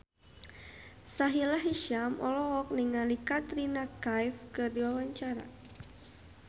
Sahila Hisyam olohok ningali Katrina Kaif keur diwawancara